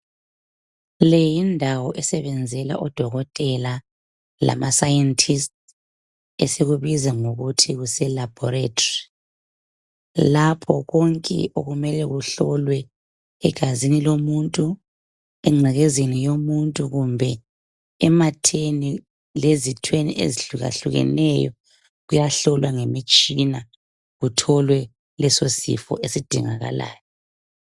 leyindawo osebenzela odokotela lama sayentisti esiyibiza sisithi kuselebholethari lapha konke okumele kuhlowe egazi lomuntu kumbe engcekezeni yomuntu kumbe ematheni omuntu lezithweni esihlukahlukeneyo kuyahlolwa ngemitshina kutholwe leso sifo esidingakalayo